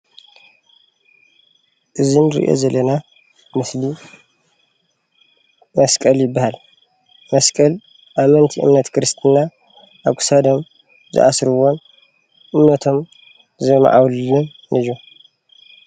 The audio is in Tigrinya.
እዚ እንሪኦ ዘለና ምስሊ መስቀል ይባሃል፡፡ መስቀል ኣመንቲ እምነት ክርስትና ኣብ ክሳዶም ዝኣስርዎን እምነቶም ዘማዕብልሉን እዩ፡፡